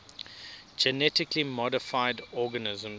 genetically modified organisms